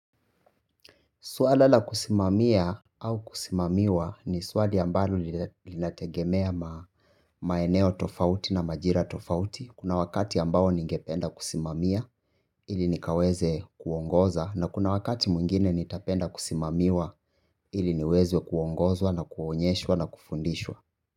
Suala la kusimamia au kusimamiwa ni swali ambalo linategemea maeneo tofauti na majira tofauti. Kuna wakati ambayo ningependa kusimamia ili nikaweze kuongoza na kuna wakati mwingine nitapenda kusimamiwa ili niweze kuongozwa na kuonyeshwa na kufundishwa.